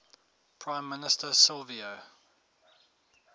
prime minister silvio